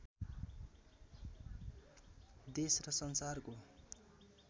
देश र संसारको